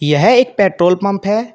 यह एक petrol pump है।